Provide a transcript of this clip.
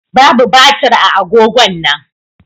Babu batir a agogon nan.